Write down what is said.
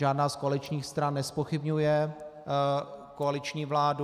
Žádná z koaličních stran nezpochybňuje koaliční vládu.